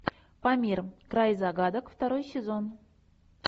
памир край загадок второй сезон